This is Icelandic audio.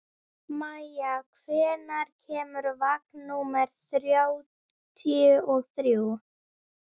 Maia, hvenær kemur vagn númer þrjátíu og þrjú?